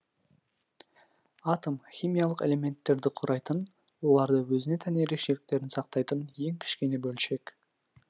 атом химиялық элементтерді құрайтын олардың өзіне тән ерекшеліктерін сақтайтын ең кішкене бөлшек